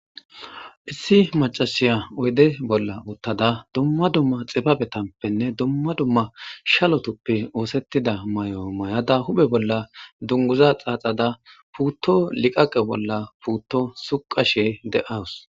Issi macasiya oyde bolla uttada dumma dumma xibabe tampenne dumma dumma shalotuppe oosettida may7o may7ada hube bolla dunguza xaaxada puutto liqaqe bolla puutto suqashe de7awus.